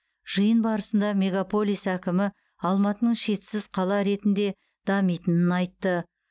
жиын барысында мегаполис әкімі алматының шетсіз қала ретінде дамитынын айтты